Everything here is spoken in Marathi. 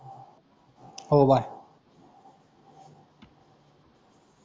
हो, बाय.